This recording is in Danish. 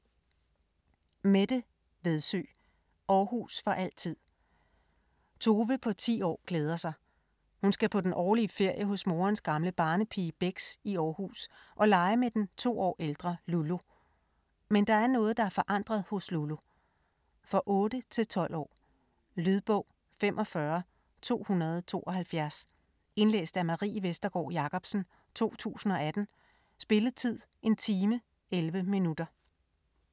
Vedsø, Mette: Aarhus for altid Tove på ti år glæder sig. Hun skal på den årlige ferie hos morens gamle barnepige Bex i Aarhus og lege med den 2 år ældre Lulu. Men der er noget, der er forandret hos Lulu. For 8-12 år. Lydbog 45272 Indlæst af Marie Vestergård Jacobsen, 2018. Spilletid: 1 time, 11 minutter.